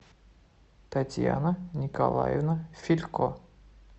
татьяна николаевна филько